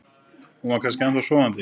Hún var kannski ennþá sofandi.